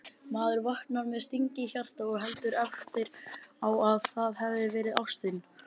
Maður vaknar með sting í hjarta og heldur eftir á að það hafi verið ástin